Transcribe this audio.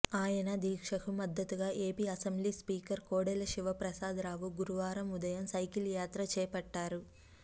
ఆయన దీక్షకు మద్దతుగా AP assembly speaker Kodela Siva Prasada Rao గురువారం ఉదయం సైకిల్ యాత్ర చేపట్టారు